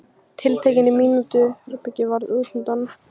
Tiltektin í mínu herbergi varð útundan.